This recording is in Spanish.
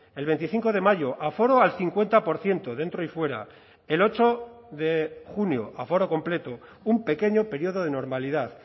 el veinticinco de mayo aforo al cincuenta por ciento dentro y fuera el ocho de junio aforo completo un pequeño período de normalidad